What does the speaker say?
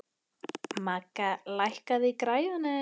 Magga, lækkaðu í græjunum.